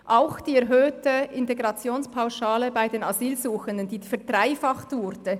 Das gilt ebenfalls für die erhöhte Integrationspauschale bei den Asylsuchenden, die verdreifacht wurde.